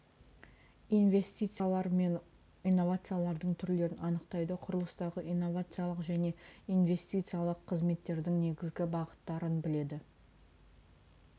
инвестициялар мен инновациялардың түрлерін анықтайды құрылыстағы иновациялық және инвестициялық қызметтердің негізгі бағыттарын біледі